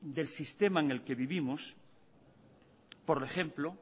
del sistema en el que vivimos por ejemplo